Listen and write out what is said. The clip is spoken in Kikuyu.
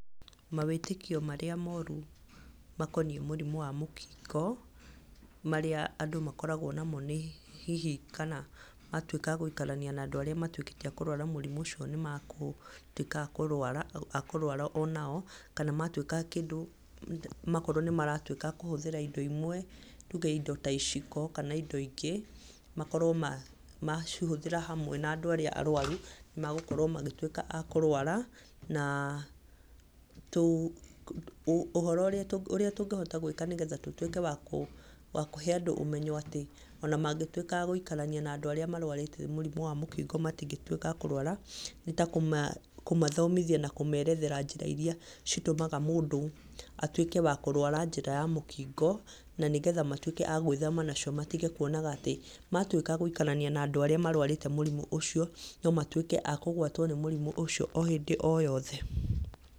Mawĩtĩkio marĩa moru makoniĩ mũrimũ wa mũkingo marĩa andũ makoragwo namo nĩ hihi kana matuĩka a gũikarania na andũ arĩa matuĩkĩte a kũrwara mũrimũ ũcio nĩ magũtuĩka a kũrwara ona o. Kana matuĩka kĩndũ makorwo nĩ maratuĩka a kũhũthĩra indo imwe, tuge indo ta iciko kana indo ingĩ, makorwo macihũthĩra hamwe na andũ arĩa arũaru nĩ magũkorwo magĩtuĩka a kũrũara. Na ũhoro ũrĩa tũngĩhota gwĩka nĩgetha tũtuĩke wa kũhe andũ ũmenyo atĩ ona mangĩtuĩka a gũikarania na andũ arĩa marũarĩte mũkingo matingĩtuĩka a kũrũara. Nĩta kũmathomithia na kũmerethera njĩra irĩa citũmaga mũndũ atuĩke wa kũrũara njĩra ya mũkingo. Na nĩgetha matuĩke a gwĩthemaga nacio matige kuonaga atĩ matuĩka a gũikarania na andũ arĩa marũarĩte mũrimũ ũcio, no matuĩke a kũgwatwo nĩ mũrimũ ũcio o hĩndĩ o yothe.